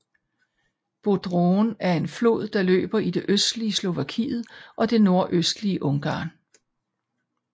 Bodrogen er en flod der løber i det østlige Slovakiet og det nordøstlige Ungarn